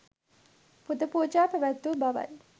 පුද පූජා පැවැත්වූ බවයි.